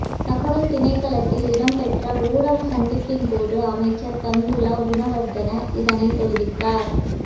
தகவல் திணைக்களத்தில் இடம்பெற்ற ஊடக சந்திப்பின் போது அமைச்சர் பந்துல குணவர்தன இதனை தெரிவித்தார்